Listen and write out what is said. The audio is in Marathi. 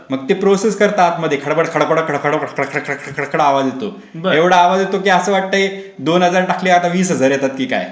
मग ते प्रोसेस करत आतमध्ये खडबड खडबड कडकड खडखळ आवाज येतो.एवढा आवाज येतो की असं वाटतंय दोन हजार टाकले की आता वीस हजार येतात की काय